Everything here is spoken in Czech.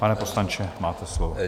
Pane poslanče, máte slovo.